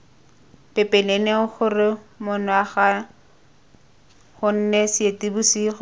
pepeneneng gore monongwaga gone seetebosigo